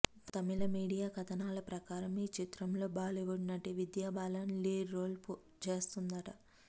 తమిళ media కథనాల ప్రకారం ఈ చిత్రంలో బాలీవుడ్ నటి విద్యా బాలన్ లీడ్ రోల్ చేస్తుందట